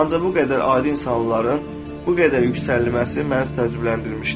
Ancaq bu qədər adi insanların bu qədər yüksəlməsi məni təcrübələndirmişdi.